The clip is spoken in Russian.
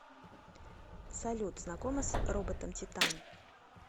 салют знакома с роботом титан